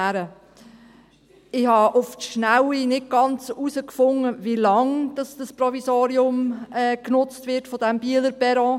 Ich habe auf die Schnelle nicht genau herausfinden können, wie lang das Provisorium des Bieler Perrons genutzt wird.